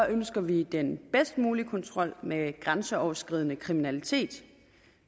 ønsker vi den bedst mulige kontrol med grænseoverskridende kriminalitet